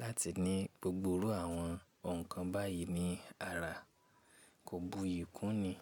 láti ní gbogbo irú àwọn ǹkan báyìí ní ara. Kò buyì kú ni.